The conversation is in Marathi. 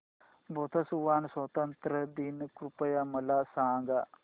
बोत्सवाना स्वातंत्र्य दिन कृपया मला सांगा